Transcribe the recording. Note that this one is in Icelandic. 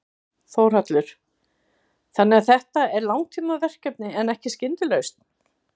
Þórhallur: Þannig að þetta er langtímaverkefni en ekki skyndilausn?